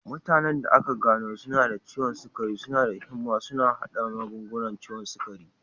Mutanen da aka gano suna da ciwon sukari suna da himma suna haɗa magungunan ciwon sukari.